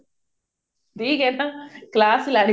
ਠੀਕ ਹੈ ਇਹ ਤਾਂ class